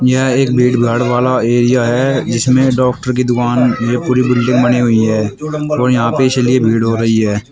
यह एक भीड़ भाड़ वाला एरिया है जिसमें डॉक्टर की दुकान यह पूरी बिल्डिंग बनी हुई है और यहां पे इसलिए भीड़ हो रही है।